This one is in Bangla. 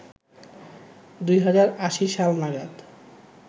২০৮০ সাল নাগাদ